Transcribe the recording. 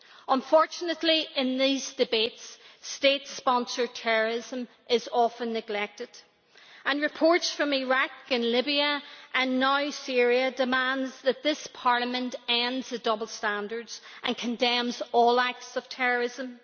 Unfortunately, in these debates state sponsored terrorism is often neglected. Reports from Iraq and Libya and now Syria demand that this Parliament end the double standards and condemn all acts of terrorism.